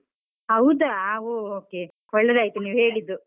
ಹೌದಾ, o~ okay ಒಳ್ಳೆದಾಯ್ತು ನೀವ್ ಹೇಳಿದ್ದು.